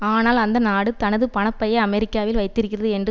ஆனால் அந்த நாடு தனது பண பையை அமெரிக்காவில் வைத்திருக்கிறது என்று